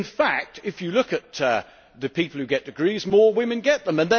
In fact, if you look at the people who get degrees, more women get them.